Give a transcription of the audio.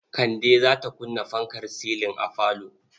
Kande za ta kunna fankar silin a falo.